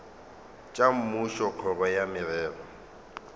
tša mmušo kgoro ya merero